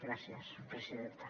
gràcies presidenta